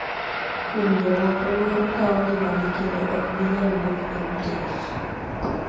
Kuom jo moko, luoro kawo ngimagi kendo ok ginyal wuok e utegi.